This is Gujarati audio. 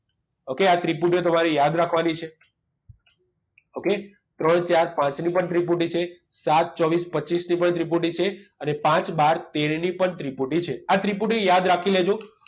Okay આ ત્રિપુટીઓ તમારે યાદ રાખવાની છે okay ત્રણ ચાર પાંચ ની પણ ત્રિપુટી છે સાત ચોવીસ પચીસ ની પણ ત્રિપુટી છે અને પાંચ બાર તેર ની પણ ત્રિપુટી છે આ ત્રિપુટી યાદ રાખી દેજો